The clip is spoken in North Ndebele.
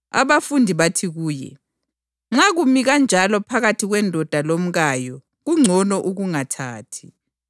Abafundi bathi kuye, “Nxa kumi kanjalo phakathi kwendoda lomkayo kungcono ukungathathi.”